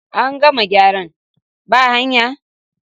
An gama gyaran ba hayan?.